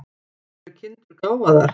Eru kindur gáfaðar?